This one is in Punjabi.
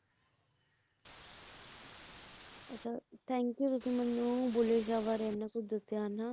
ਅੱਛਾ thank you ਤੁਸੀ ਮੈਨੂੰ ਬੁੱਲੇ ਸ਼ਾਹ ਬਾਰੇ ਇੰਨਾ ਕੁੱਛ ਦੱਸਿਆ ਹਨਾਂ ਇੱਕ ਮਹਾਨ ਸੂਫ਼ੀ ਕਵੀ ਸੰਤ ਸੀਗੇ ਹਨਾਂ